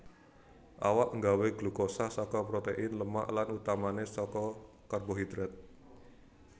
Awak nggawé glukosa saka protein lemak lan utamané saka karbohidrat